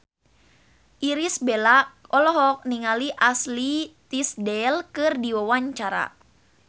Irish Bella olohok ningali Ashley Tisdale keur diwawancara